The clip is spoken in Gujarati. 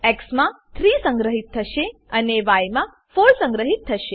એક્સ માં 3 સંગ્રહીત થશે અને ય માં 4 સંગ્રહીત થશે